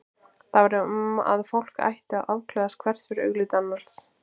Það var um að fólk ætti að afklæðast hvert fyrir augliti annars.